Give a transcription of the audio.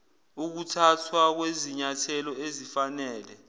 ukuthathwa kwezinyathelo ezifanele